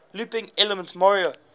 looping elements mario